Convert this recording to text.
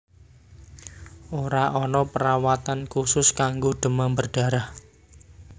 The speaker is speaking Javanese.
Ora ana perawatan khusus kanggo demam berdarah